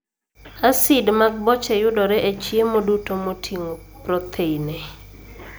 Asid mag boche yudore e chiemo duto moting'o protheine.